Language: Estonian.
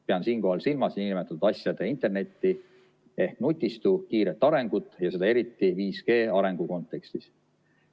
Pean siinkohal silmas nn asjade interneti ehk nutistu kiiret arengut ja seda eriti 5G arengu kontekstis.